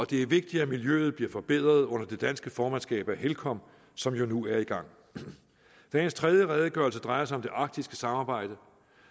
det er vigtigt at miljøet bliver forbedret under det danske formandskab af helcom som nu er i gang dagens tredje redegørelse drejer sig om det arktiske samarbejde